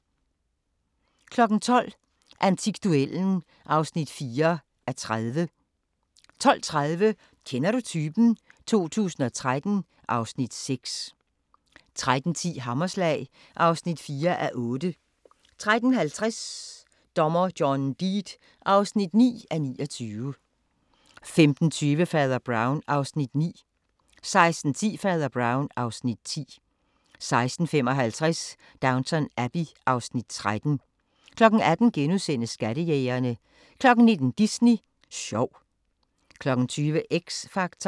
12:00: Antikduellen (4:30) 12:30: Kender du typen? 2013 (Afs. 6) 13:10: Hammerslag (4:8) 13:50: Dommer John Deed (9:29) 15:20: Fader Brown (Afs. 9) 16:10: Fader Brown (Afs. 10) 16:55: Downton Abbey (Afs. 13) 18:00: Skattejægerne * 19:00: Disney sjov 20:00: X Factor